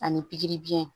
Ani pikiri biyɛn